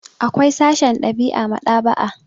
Akwai sashen ɗab'i a maɗ'aba'a.